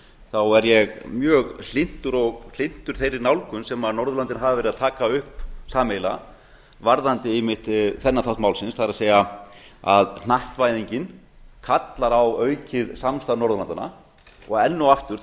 þá er ég mjög hlynntur og hlynntur þeirri nálgun sem norðurlöndin hafa verið að taka upp sameiginlega varðandi einmitt þennan þátt málsins það er að hnattvæðingin kallar á aukið samstarf norðurlandanna og enn og aftur